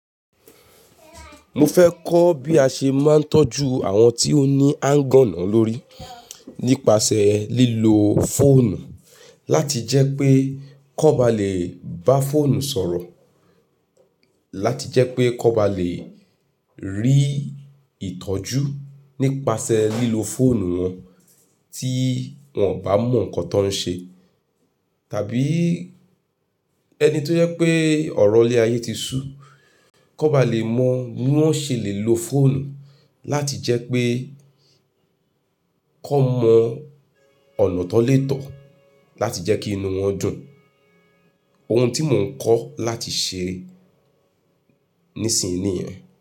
Mo fẹ́ kọ́ bí a ṣe máa ń tọ́jú àwọn tí ó ní áńgọ́nà lórí nípasẹ̀ lílo fóònù láti jẹ́ pé kọ́ ba lè bá fóònù sọ̀rọ̀, láti jẹ́ pé kan ba lè rí ìtọ́jú nípasẹ̀ lílo fóònù wọn tí wọ́n ò bá mọ nǹkan tó ń ṣe, tàbí ẹni tó jẹ pé ọ̀rọ̀ lé ayé ti sú, kan ba lè mọ bí wọ́n ṣe lè lo fóònù láti jẹ́ pé kan mọ ọ̀nà tan le tọ̀ láti jẹ́ kí inú wọn dùn. Ohun tí mò ń kọ́ láti ṣe nísìnyí nìyẹn.